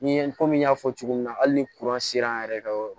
Ni komi n y'a fɔ cogo min na hali ni sera an yɛrɛ ka yɔrɔ